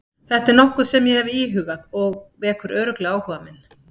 Þetta er nokkuð sem ég hef íhugað og vekur örugglega áhuga minn.